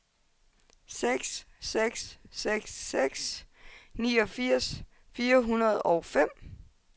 seks seks seks seks niogfirs fire hundrede og fem